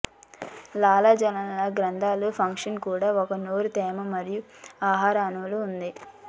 లాలాజల గ్రంథులు ఫంక్షన్ కూడా ఒక నోరు తేమ మరియు ఆహార అణువులు ఉంది